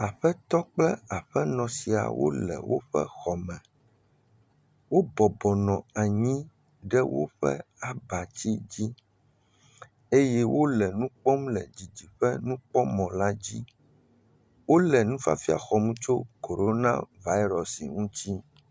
Aƒetɔ kple aƒenɔ sia wo le woƒe xɔ me. Wo bɔbɔnɔ anyi ɖe woƒe abatsi dzi eye wo le nu kpɔm le dzidziƒe nukpɔmɔ la dzi. Wo le nufiafia xɔm tso korona vaɖɔsi ŋuti.